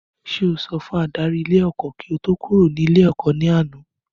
Sé o sọ fún adarí ilé ẹ́kọ́ kí o tó kúrò ní ilé ẹ̀kọ́ ní àná?